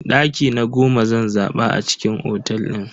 Daki na goma zan zaba a cikin otel din.